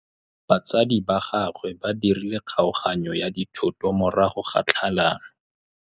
Batsadi ba gagwe ba dirile kgaoganyô ya dithoto morago ga tlhalanô.